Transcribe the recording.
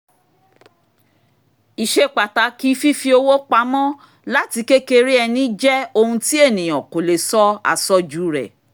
ìṣepàtàkì fífi owó pamọ́ láti kékeré ẹni jẹ́ ohun tí ènìyàn kò lè sọ àsọjù rẹ